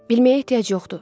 Bilməyə ehtiyac yoxdur.